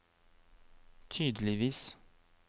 tydeligvis